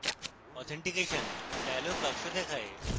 authentication dialog box দেখায়